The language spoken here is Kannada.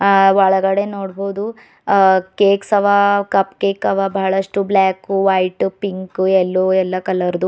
ಆ ಒಳಗಡೆ ನೋಡ್ಬೋದು ಆ ಕೇಕ್ಸ್ ಆವ ಕಪ್ ಕೇಕ್ ಆವ ಬಹಳಷ್ಟು ಬ್ಲಾಕು ವೈಟು ಪಿಂಕು ಯಲ್ಲೋ ಎಲ್ಲಾ ಕಲರ ದು.